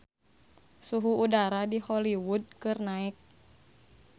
Suhu udara di Hollywood keur naek